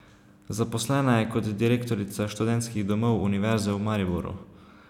Zaposlena je kot direktorica Študentskih domov Univerze v Mariboru.